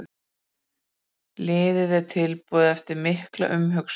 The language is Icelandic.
Liðið er tilbúið eftir mikla umhugsun.